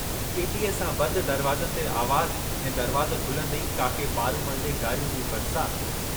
इटीअ सां बंद दरवाज़नि ते आवाज़ ऐं दरवाज़ो खुलन्दे ई काके पारूमल जे गारियुनि जी बरसात।